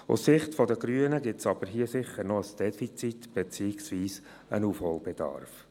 Aus Sicht der Grünen gibt es hier aber sicher noch ein Defizit, beziehungsweise einen Aufholbedarf.